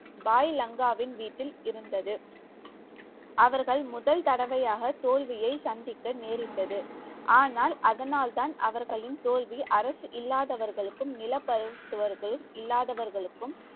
பாய் லங்காவின் வீட்டில் இருந்தது. அவர்கள் முதல் தடவையாக தோல்வியை சந்திக்க நேரிட்டது. ஆனால் அதனால்தான் அவர்களின் தோல்வி அரசு இல்லாதவர்களுக்கு நிலப்பரத்து இல்லாதவர்களுக்கு